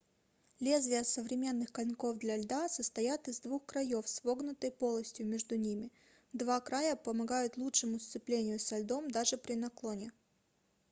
лезвия современных коньков для льда состоят из двух краёв с вогнутой полостью между ними два края помогают лучшему сцеплению со льдом даже при наклоне